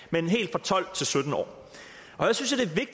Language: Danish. på tolv til sytten år her synes